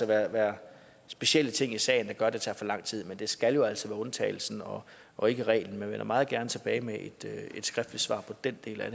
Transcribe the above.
være specielle ting i sagen der gør at det tager for lang tid men det skal jo altså være undtagelsen og og ikke reglen og jeg vender meget gerne tilbage med et skriftligt svar på den del af